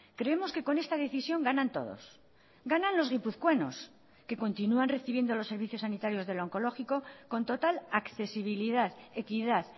creemos que con esta decisión ganan todos ganan los guipuzcoanos que continúan recibiendo los servicios sanitarios del oncológico con total accesibilidad equidad